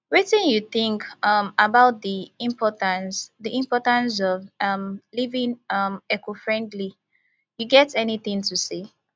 wetin you think um about di importance di importance of um living um ecofriendly you get any thing to say